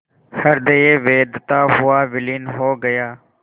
हृदय वेधता हुआ विलीन हो गया